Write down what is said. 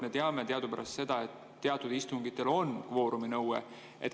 Me teame teadupärast seda, et teatud istungitel on kvooruminõue.